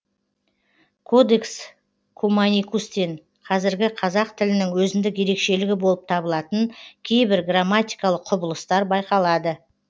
кодекс куманикустен қазіргі қазақ тілінің өзіндік ерекшелігі болып табылатын кейбір грамматикалық құбылыстар байқалады